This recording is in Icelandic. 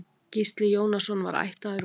Gísli Jónasson var ættaður úr